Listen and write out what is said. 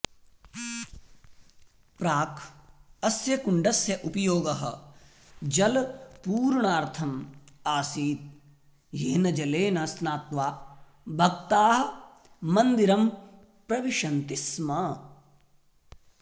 प्राक् अस्य कुण्डस्य उपयोगः जलपूरणार्थम् आसीत् येन जलेन स्नात्वा भक्ताः मन्दिरं प्रविशन्ति स्म